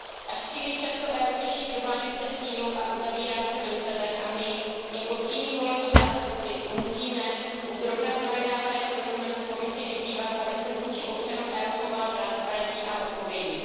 Až příliš často EU řeší problémy přes sílu a uzavírá se do sebe a my jako přímí volení zástupci musíme u zrovna projednávaného dokumentu Komisi vyzývat, aby se vůči občanům EU chovala transparentně a odpovědně.